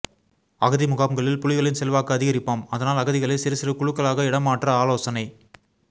அகதி முகாம்களில் புலிகளின் செல்வாக்கு அதிகரிப்பாம் அதனால் அகதிகளை சிறுசிறு குழுக்களாக இடமாற்ற ஆலோசனை